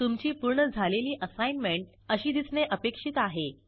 तुमची पूर्ण झालेली असाईनमेंट अशी दिसणे अपेक्षित आहे